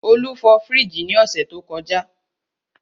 Olú fọ fríìgì ní ọ̀sẹ̀ tó kọjá.